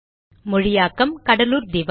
மொழியாக்கம் கடலூர் திவா